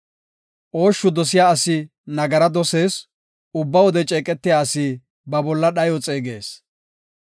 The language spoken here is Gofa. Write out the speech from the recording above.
Ooshshu dosiya asi nagara dosees; ubba wode ceeqetiya asi ba bolla dhayo xeegees.